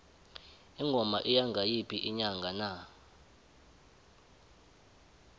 ingoma iya ngayiphi inyanga na